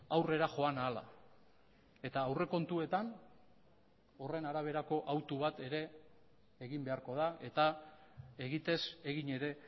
aurrera joan ahala eta aurrekontuetan horren araberako autu bat ere egin beharko da eta egitez egin ere